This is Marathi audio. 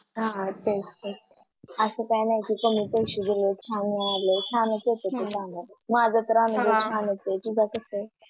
हा तेच तेच असं काय नाही कमी पैस्यात छान मिळालं छान येते त्याच्यात माझं हम्म अनुभव छान आहे बाई तुझं कस आहे